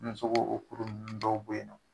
Muso b'o o kuru ninnu dɔw bɔ yen nɔ